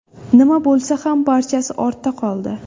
Nima bo‘lsa ham barchasi ortda qoldi.